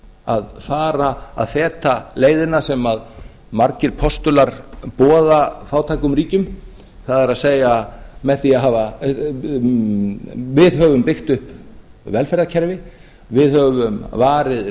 að fara að feta leiðina sem margir postular boða fátækum ríkjum það er með því að við höfum byggt upp velferðarkerfi við höfum varið